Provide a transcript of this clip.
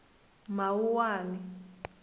mawuwani